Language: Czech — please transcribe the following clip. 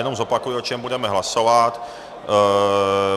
Jenom zopakuji, o čem budeme hlasovat.